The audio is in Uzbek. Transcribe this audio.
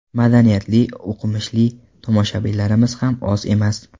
Madaniyatli, o‘qimishli tomoshabinlarimiz ham oz emas.